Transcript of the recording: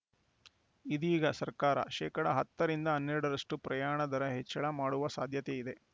ಇದೀಗ ಸರ್ಕಾರ ಶೇಕಡಾ ಹತ್ತರಿಂದ ಹನ್ನೆರಡರಷ್ಟುಪ್ರಯಾಣ ದರ ಹೆಚ್ಚಳ ಮಾಡುವ ಸಾಧ್ಯತೆಯಿದೆ